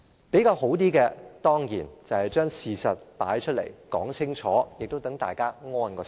比較好的做法，當然把事實擺出來、說清楚，讓大家安心。